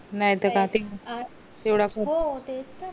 नाय त काय ते